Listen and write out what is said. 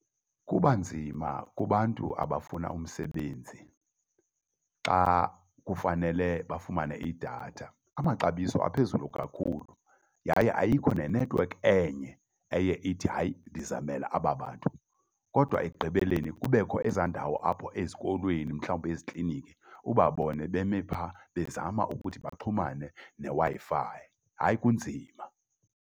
Kuba nzima kubantu abafuna umsebenzi xa kufanele bafumane idatha. Amaxabiso aphezulu kakhulu yaye ayikho ne-network enye eye ithi hayi, ndizamela aba bantu. Kodwa ekugqibeleni kubekho ezaa ndawo aphoa ezikolweni mhlawumbi ezikliniki ubabone beme pha bezama ukuthi bafumane neWi-Fi, hayi kunzima.